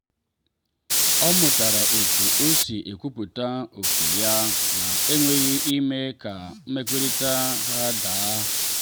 o mụtara otu o si ekwupụta oke ya na enweghị ime ka mmekọrịta ha daa.